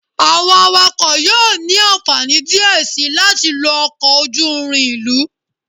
Awọn awakọ yoo ni anfani diẹ sii lati lo ọkọ oju-irin ilu